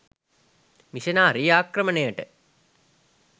missionary ආක්‍රමණයට